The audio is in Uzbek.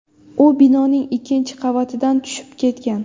U binoning ikkinchi qavatidan tushib ketgan.